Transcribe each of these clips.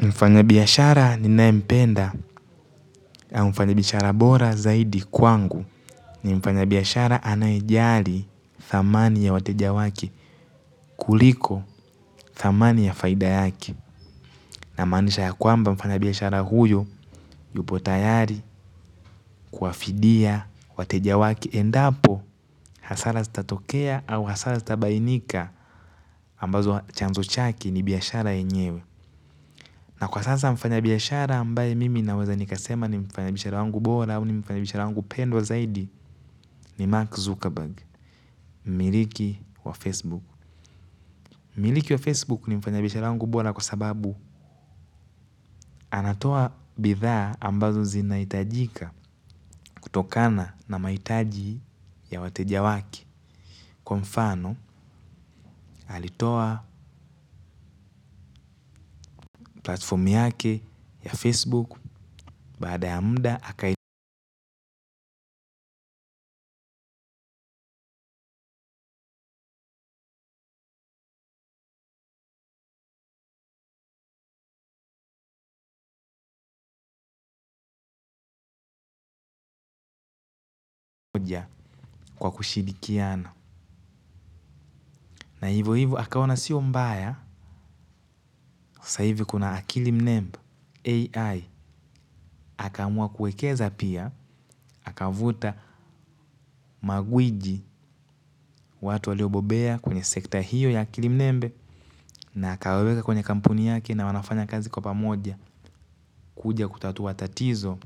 Mfanya biyashara ninaempenda au mfanya biyashara bora zaidi kwangu ni mfanya biyashara anayejali thamani ya wateja wake kuliko thamani ya faida yake. Namanisha ya kwamba mfanya biyashara huyo yupo tayari kuafidia watejawake. Endapo hasara sitatokea au hasara sitabainika ambazo chanzo chake ni biyashara enyewe. Na kwa sasa mfanya biyashara ambaye mimi naweza nikasema ni mfanya biyashara wangu bora au ni mfanya biyashara wangu pendwa zaidi ni Mark Zuckerberg, miliki wa Facebook. Miliki wa Facebook ni mfanya biyashara wangu bora kwa sababu anatoa bithaa ambazo zinaitajika kutokana na maitaji ya watejawake. Kwa mfano, alitoa platformi yake ya Facebook baada ya mda hakaidoja kwa kushidikiana. Na hivyo hivyo, hakaona siyo mbaya, saivi kuna akili mnembe, AI, haka mua kuekeza pia, haka vuta magwiji watu waliobobea kwenye sekta hiyo ya akili mnembe, na hakaweka kwenye kampuni yake na wanafanya kazi kwa pamoja, kuja kutatu watatizo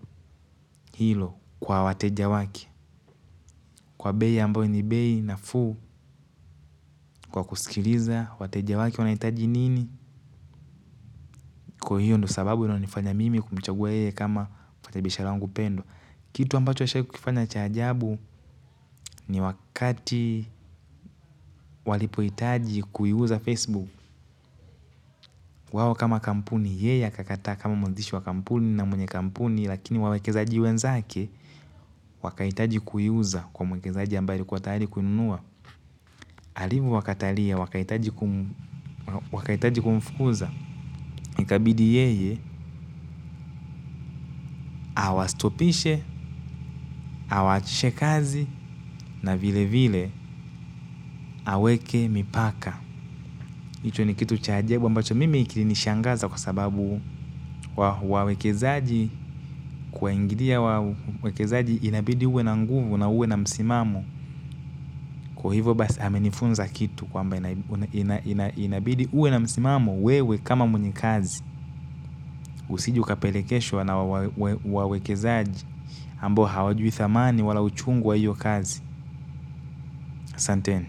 hilo kwa wateja wake. Kwa bei ambayo ni bei nafuu kwa kusikiliza wateja wake wanahitaji nini kwa hiyo ndio sababu inayonifanya mimi kumchagua yeye kama mfanyabiashara wangu pendwa. Kitu ambacho ashawahi kukifanya cha ajabu ni wakati walipohitaji kuiuza Facebook. Wao kama kampuni yeye akakataa kama mwanzishi wa kampuni na mwenye kampuni. Lakini wawekezaji wenzake wakahitaji kuiuza kwa mwekezaji ambaye alikuwa tayari kuinunua. Alivyo wakatalia, wakahitaji kumfukuza, ikabidi yeye, awastopishe, awaachishe kazi, na vile vile, aweke mipaka. Hicho ni kitu cha ajabu, ambacho mimi kilinishangaza kwa sababu wawekezaji kuwaingilia wawekezaji inabidi uwe na nguvu na uwe na msimamo. Kwa hivo basi amenifunza kitu kwamba ina inabidi uwe na msimamo wewe kama mwenye kazi usije ukapelekeshwa na wawekezaji ambao hawajui thamani wala uchungu wa hiyo kazi asanteni.